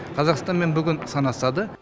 қазақстанмен бүгін санасады